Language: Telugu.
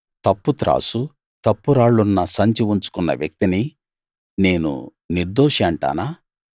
తప్పు త్రాసు తప్పు రాళ్లున్న సంచి ఉంచుకున్న వ్యక్తిని నేను నిర్దోషి అంటానా